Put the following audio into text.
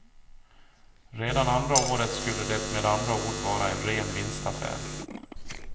Redan andra året skulle det med andra ord vara en ren vinstaffär.